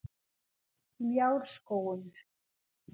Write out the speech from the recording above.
Ljárskógum